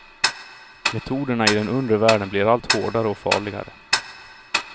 Metoderna i den undre världen blir allt hårdare och farligare.